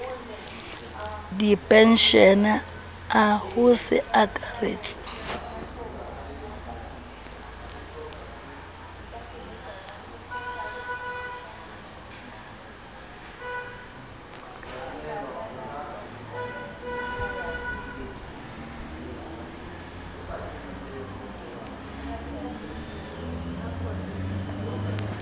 dipenshene a ho se akaretse